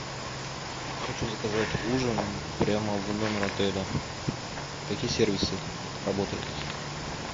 хочу заказать ужин прямо в номер отеля какие сервисы работают